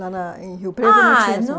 Lá na em Rio Preto não tinha